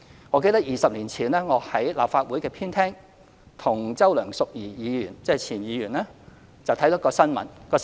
我記得20年前，我在立法會的前廳與前議員周梁淑怡看到一段新聞。